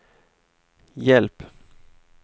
hjälp